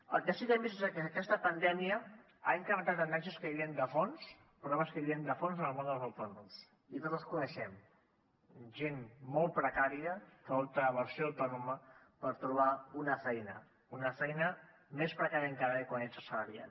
el que sí que hem vist és que aquesta pandèmia ha incrementat tendències que hi havien de fons problemes que hi havien de fons en el món dels autònoms i tots els coneixem gent molt precària que opta per ser autònoma per trobar una feina una feina més precària encara que quan ets assalariat